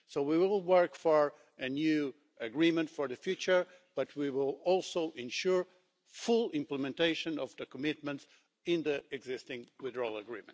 So we will work for a new agreement for the future, but we will also ensure full implementation of the commitments in the existing Withdrawal Agreement.